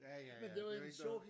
Ja ja ja det er jo ikke noget